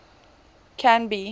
canby